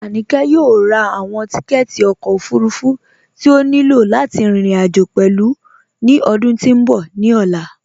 Aníkẹ yọ̀ò rá awọn tìkẹ̀tì ọkọ ofúrúfú tí o ní ilọ̀ láti rin irin-ajo pẹ̀lú ni ọdún tí n bọ̀ ni ọlá